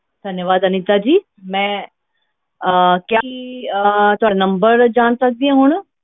ਤਾਂਵਾਦ ਅਨੀਤਾ ਜੀ ਮੈਂ ਅਹ ਕੀ ਅਹ ਤੁਹਾਡਾ number ਜਾਣ ਸਕਦੀ ਹਾਂ ਹੁਣ।